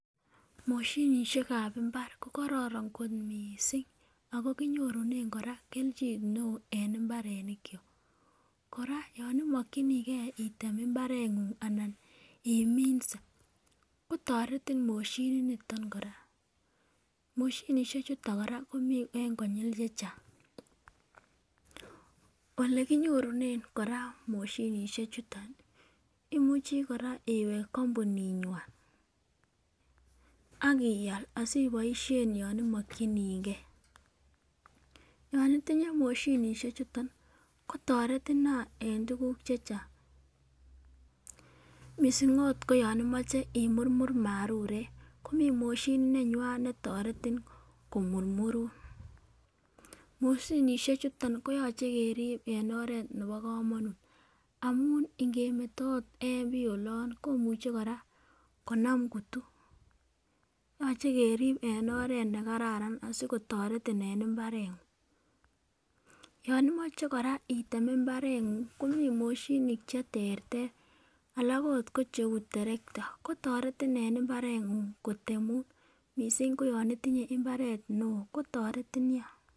Moshinishekb imbar ko kororon kot missing ako kinyorunen Koraa keljin neo en imbarenik chok, Koraa yon imokinigee item imbarenguny anan iminse kotoreti moshinit niton Koraa. Moshinishek chuton Koraa komii en kongik chechang, ole kinyorunen Koraa moshinishek chuton imuchii Koraa imwet kompunit nywan akial siboishen yon imokinigee. Yon itinye moshinishek chuton kotoreti nia en tukuk chechang missing ot koyon imoche imurmur marurek komii moshinit nenywan netoreti komurmurun, moshinishek chuton konyolu kerib en oret nebo komonut amun ingemo ot en bii olon komuche konam kutu, yoche kerib en oret nekararan asikotoret en imbarenguny. Yon imoche Koraa item imbarenguny komii moshinit cheterter alak ot ko cheu terekta kotoreti en imbarenguny kotemun missing koyon itinye imbaret neo kotoretin nia.